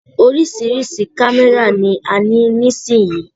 Oríṣiríṣi kámẹ́rà ni a ní nísìyí.